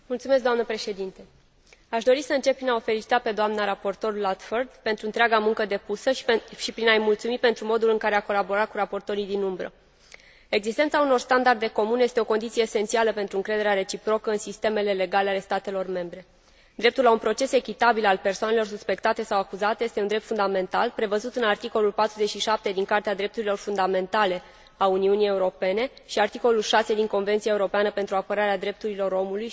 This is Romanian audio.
Aș dori să încep prin a o felicita pe dna raportor Ludford pentru întreaga muncă depusă și prin a i mulțumi pentru modul în care a colaborat cu raportorii alternativi. Existența unor standarde comune este o condiție esențială pentru încrederea reciprocă în sistemele legale ale statelor membre. Dreptul la un proces echitabil al persoanelor suspectate sau acuzate este un drept fundamental, prevăzut în articolul 47 din Carta drepturilor fundamentale a Uniunii Europene și articolul 6 din Convenția europeană pentru apărarea drepturilor omului și a libertăților fundamentale.